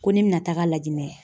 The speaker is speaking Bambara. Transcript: Ko ne bɛna taga lajɛ